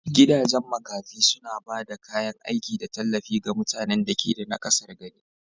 Gidajen makafi suna ba da kayan aiki da tallafi ga mutanen da ke da naƙasar gani